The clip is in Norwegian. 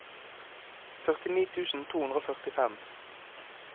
førtini tusen to hundre og førtifem